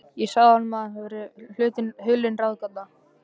Ég sagði honum, að það væri mér hulin ráðgáta.